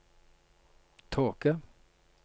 tåke